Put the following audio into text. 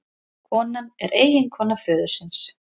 Konan er eiginkona föðursins